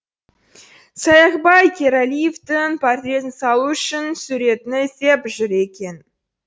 саякбай каралиевтің портретін салу үшін суретін іздеп жүр екен